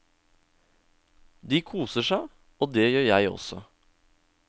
De koser seg, og det gjør jeg også.